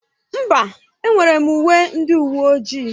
Mba, enwere m uwe ndị uwe ojii.